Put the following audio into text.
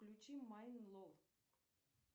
включи майн лол